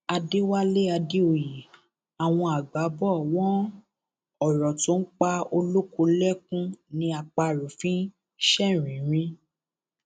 àdẹwálé adéoyè àwọn àgbà bò wọn ọrọ tó ń pa olóko lẹkùn ni àparò fi ń ṣeréínrín